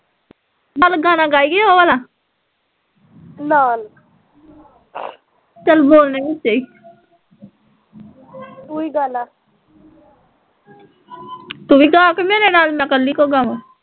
ਚੱਲ ਗਾਣਾ ਗਾਈਏ ਓਹ ਵਾਲਾ ਚੱਲ ਬੋਲ ਨਾ ਵਿਚੇ ਤੂੰ ਵੀ ਗਾ ਕਿ ਮੇਰੇ ਨਾਲ਼ ਮੈਂ ਕੱਲੀ ਕਿਉ ਗਾਵਾ